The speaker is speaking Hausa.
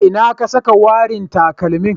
A ina ka saka warin takalmin.